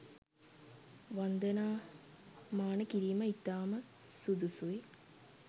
වන්දනා මාන කිරීම ඉතාම සුදුසුයි.